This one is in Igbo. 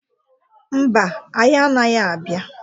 Mba, anyị anaghị abịa.